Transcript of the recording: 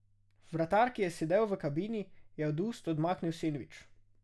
Vratar, ki je sedel v kabini, je od ust odmaknil sendvič.